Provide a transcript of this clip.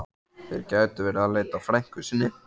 Þeir gætu verið að leita að frænku sinni.